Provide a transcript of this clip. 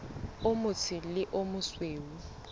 o motsho le o mosweu